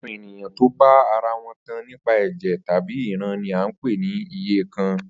Àwo̩n ènìyàn tó bá ara wo̩n tan nípa è̩jè̩ tàbí ìran ni à ń pè ni iyèkan